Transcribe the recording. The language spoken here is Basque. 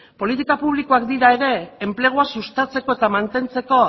politika publikoak dira ere enplegua sustatzeko eta mantentzeko